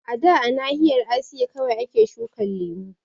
A da a nahiyar Asiya kawai ake shukan lemu